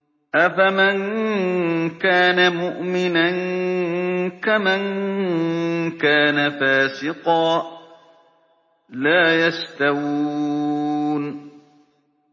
أَفَمَن كَانَ مُؤْمِنًا كَمَن كَانَ فَاسِقًا ۚ لَّا يَسْتَوُونَ